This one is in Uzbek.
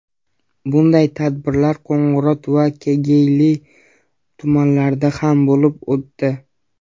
Bunday tadbirlar Qo‘ng‘irot va Kegeyli tumanlarida ham bo‘lib o‘tdi.